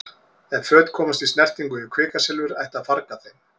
Ef föt komast í snertingu við kvikasilfur ætti að farga þeim.